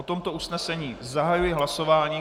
O tomto usnesení zahajuji hlasování.